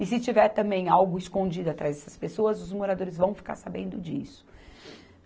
E se tiver também algo escondido atrás dessas pessoas, os moradores vão ficar sabendo disso.